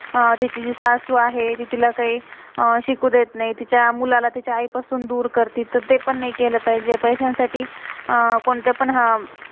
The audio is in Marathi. अह तिची जी सासु आहे, ती तिला कही अं शिकू देत नाही. तिच्या मुलाला तिच्या आई पासून दूर करते. तर ते पण नहीं केलं पाहिजे. तर पैस्यां साठी, अं कोणतं पण,